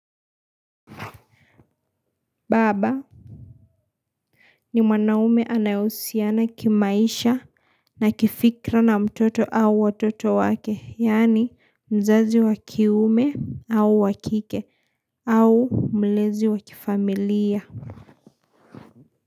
Baba, ni mwanaume anayohusiana kimaisha na kifikra na mtoto au watoto wake. Yaani, mzazi wa kiume au wa kike au mlezi wakifamilia.